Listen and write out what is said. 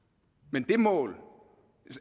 men det mål